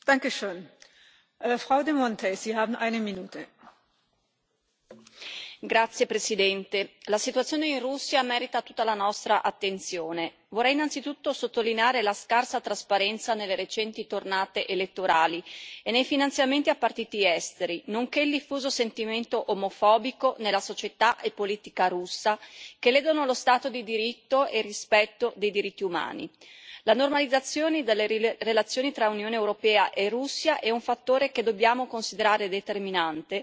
Signora Presidente, onorevoli colleghi, la situazione in Russia merita tutta la nostra attenzione. Vorrei innanzitutto sottolineare la scarsa trasparenza nelle recenti tornate elettorali e nei finanziamenti a partiti esteri, nonché il diffuso sentimento omofobico nella società e nella politica russa, che ledono lo Stato di diritto e il rispetto dei diritti umani. La normalizzazione dalle relazioni tra Unione europea e Russia è un fattore che dobbiamo considerare determinante